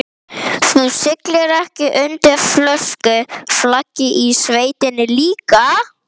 Hugrún Halldórsdóttir: Með lögregluvaldi?